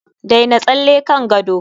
daina tsalle kan gado